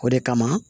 O de kama